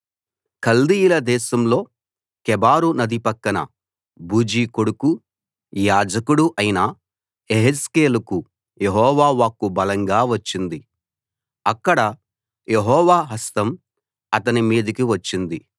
కల్దీయుల దేశంలో కెబారు నది పక్కన బూజీ కొడుకూ యాజకుడూ అయిన యెహెజ్కేలుకు యెహోవా వాక్కు బలంగా వచ్చింది అక్కడే యెహోవా హస్తం అతని మీదికి వచ్చింది